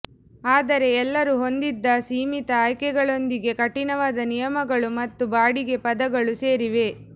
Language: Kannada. ಆದರೆ ಎಲ್ಲರೂ ಹೊಂದಿದ್ದ ಸೀಮಿತ ಆಯ್ಕೆಗಳೊಂದಿಗೆ ಕಠಿಣವಾದ ನಿಯಮಗಳು ಮತ್ತು ಬಾಡಿಗೆ ಪದಗಳು ಸೇರಿವೆ